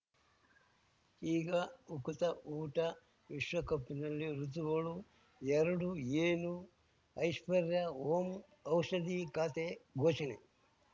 ಈಗ ಉಕುತ ಊಟ ವಿಶ್ವಕಪ್ಪಿನಲ್ಲಿ ಋತುಗಳು ಎರಡು ಏನು ಐಶ್ವರ್ಯಾ ಓಂ ಔಷಧಿ ಖಾತೆ ಘೋಷಣೆ